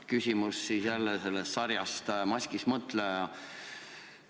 Küsimus jälle sarjast "Maskis mõtleja".